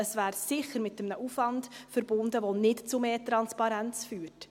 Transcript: Es wäre sicher mit einem Aufwand verbunden, der nicht zu mehr Transparenz führt.